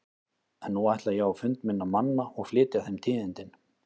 En nú ætla ég á fund minna manna og flytja þeim tíðindin.